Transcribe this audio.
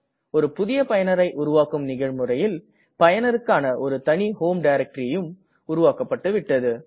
ஒரு புதிய பயனரை உருவாக்கும் நிகழ்முறையில் பயனருக்கான ஒரு தனி homeடைரக்டரியும் உருவாக்கப்பட்டுவிட்டது